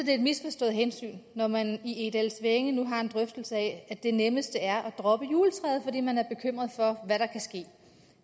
et misforstået hensyn når man i egedalsvænge nu har en drøftelse af at det nemmeste er at droppe juletræet fordi man er bekymret for hvad der kan ske